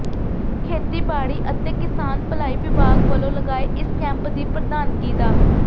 ਖੇਤੀਬਾੜੀ ਅਤੇ ਕਿਸਾਨ ਭਲਾਈ ਵਿਭਾਗ ਵੱਲੋਂ ਲਗਾਏ ਇਸ ਕੈਂਪ ਦੀ ਪ੍ਰਧਾਨਗੀ ਡਾ